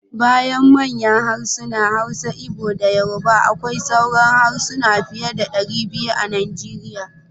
Bayan manyan harsuna: Hausa, Igbo da Yoruba akwai sauran harsuna fiye da 200 a Nigeria.